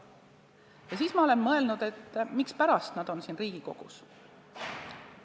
Ja siis ma olen mõelnud, mispärast nad on siin Riigikogus.